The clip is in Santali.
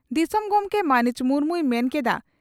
ᱫᱤᱥᱚᱢ ᱜᱚᱢᱠᱮ ᱢᱟᱹᱱᱤᱡ ᱢᱩᱨᱢᱩᱭ ᱢᱮᱱ ᱠᱮᱰᱼᱟ